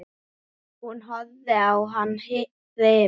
Hún horfði á hann hrifin.